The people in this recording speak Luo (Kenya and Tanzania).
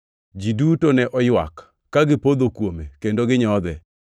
Ji duto ne oywak, ka gipodho kuome kendo ginyodhe.